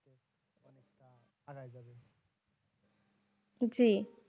জি।